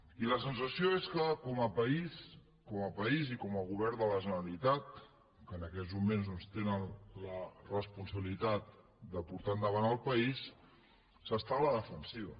i la sensació és que com a país com a país i com a govern de la generalitat que en aquests moments doncs tenen la responsabilitat de portar endavant el país s’està a la defensiva